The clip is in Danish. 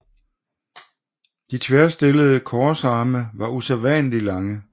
De tværstillede korsarme var usædvanligt lange